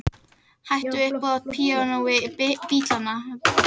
Hætt við uppboð á píanói Bítlanna